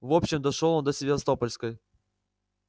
в общем дошёл он до севастопольской